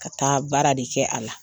Ka taa baara de kɛ a la.